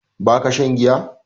Ba ka shan giya?